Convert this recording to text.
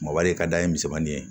Mɔbali ka da ye misɛnmanin ye